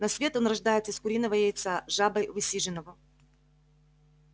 на свет он рождается из куриного яйца жабой высиженного